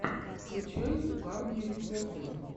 включай угарные рецепты